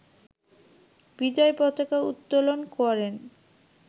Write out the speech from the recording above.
বিজয় পতাকা উত্তোলন করেন